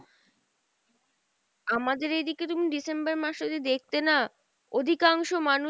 আমাদের এইদিকে তুমি December মাস এ যদি দেখতে না, অধিকাংশ মানুষ